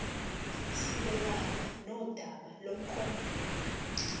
sibhekane nodaba lomklomelo